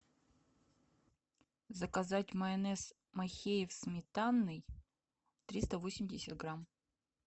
заказать майонез махеев сметанный триста восемьдесят грамм